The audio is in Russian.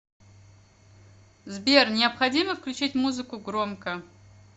сбер необходимо включить музыку громко